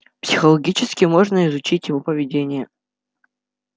психологически можно изучить его поведение